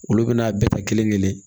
Olu bɛna bɛɛ ta kelenkelen